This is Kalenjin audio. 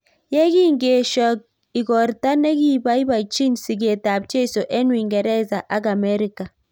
Yekingeesho igortaa nekipaipachin sigeet ap jeiso eng Uingeresa ak Amerika